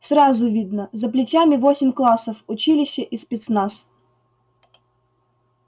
сразу видно за плечами восемь классов училище и спецназ